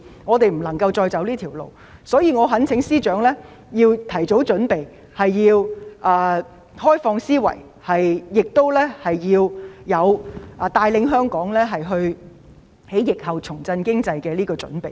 我們不能再走這條路，所以我懇請司長要提早準備，開放思維，作出帶領香港在疫後重振經濟的準備。